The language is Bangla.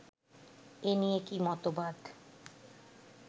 এ নিয়ে কী মতবাদ